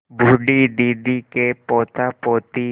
बूढ़ी दादी के पोतापोती